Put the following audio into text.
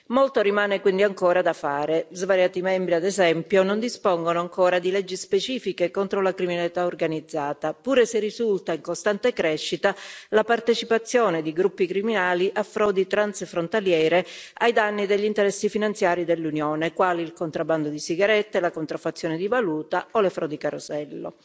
Molto rimane quindi ancora da fare svariati Stati membri, ad esempio, non dispongono ancora di leggi specifiche contro la criminalità organizzata, pure se risulta in costante crescita la partecipazione di gruppi criminali a frodi transfrontaliere ai danni degli interessi finanziari dell'Unione, quali il contrabbando di sigarette, la contraffazione di valuta o le frodi carosello.